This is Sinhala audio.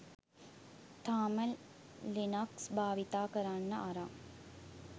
තාම ලිනක්ස් භාවිතා කරන්න අරන්